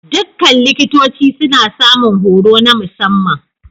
Dukkan likitoci suna samun horo na musamman.